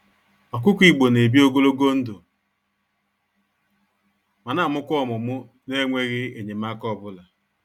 Ọkụkọ Igbo n'ebi ogologo ndụ, ma namụkwa ọmụmụ nenweghi enyemaka ọbula.